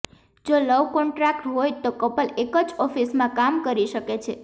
જો love contract હોય તો કપલ એક જ ઓફિસમાં કામ કરી શકે છે